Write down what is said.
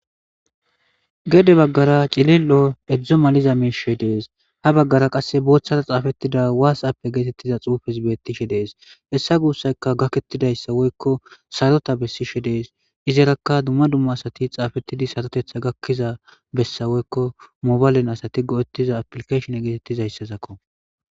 gede baggara cilil7o edzdzo maliza miishe dees ha baggara qasse booththara xaafettida waasappe geetettiza xuufes bettishe dees hessa guussayka gakettidayssa woykko sarota bessishe dees izarakka dumma dumma asati xaafetidi sarotetha gakkiza bessa woykko mobalen asati go7ettiza aplikeshon geetettizayssazakko